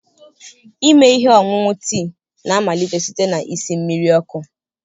Ime ihe ọṅụṅụ tii na-amalite site na isi mmiri ọkụ.